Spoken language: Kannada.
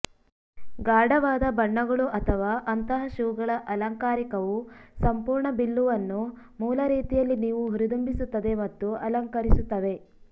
ಗಾಢವಾದ ಬಣ್ಣಗಳು ಅಥವಾ ಅಂತಹ ಶೂಗಳ ಅಲಂಕಾರಿಕವು ಸಂಪೂರ್ಣ ಬಿಲ್ಲುವನ್ನು ಮೂಲ ರೀತಿಯಲ್ಲಿ ನೀವು ಹುರಿದುಂಬಿಸುತ್ತದೆ ಮತ್ತು ಅಲಂಕರಿಸುತ್ತವೆ